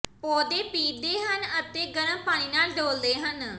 ਪੌਦੇ ਪੀਹਦੇ ਹਨ ਅਤੇ ਗਰਮ ਪਾਣੀ ਨਾਲ ਡੋਲ੍ਹਦੇ ਹਨ